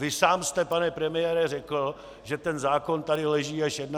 Vy sám jste, pane premiére, řekl, že ten zákon tady leží až 31. července.